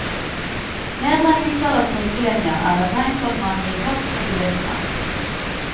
Nedleggelser av trikkelinjer er et tegn på at man gir tapt for bilismen.